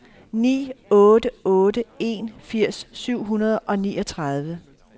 ni otte otte en firs syv hundrede og niogtredive